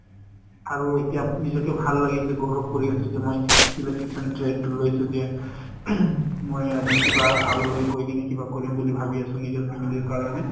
আৰু এতিয়া নিজকে ভাল লাগি আছে গৌৰৱ কৰি আছোঁ যে মই electrician trade টো লৈছো যে । মই আজি কিবা আগলৈ গৈ কিনে কিবা কৰিম বুলি ভাবি আছোঁ নিজৰ family ৰ কাৰণে।